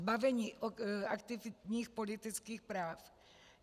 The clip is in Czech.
Zbavení aktivních politických práv?